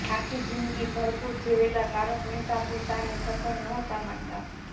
આખી જિંદગી ભરપૂર જીવેલા તારક મહેતા પોતાને સફળ નહોતા માનતા